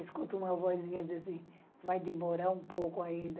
Escuto uma vozinha dizer assim, vai demorar um pouco ainda.